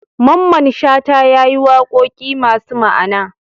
Mamman shata yayi waƙoƙi masu ma Ana